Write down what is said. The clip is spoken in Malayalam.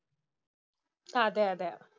അതെയതെ.